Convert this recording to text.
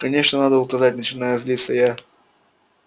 конечно надо указать начинаю злиться я